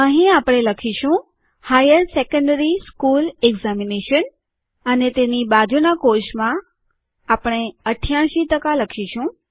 અહીં આપણે લખીશું હાયર સેકન્ડરી સ્કુલ એકઝામિનેશન અને તેની બાજુનાં કોષમાં આપણે ૮૮ ટકા લખીશું